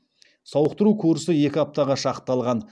сауықтыру курсы екі аптаға шақталған